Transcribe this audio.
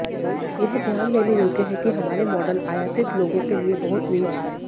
यह ध्यान देने योग्य है कि हमारे मॉडल आयातित लोगों के लिए बहुत नीच हैं